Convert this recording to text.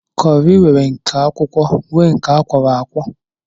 Kọri nwere nke akwụkwọ nwee nke akwọro akwọ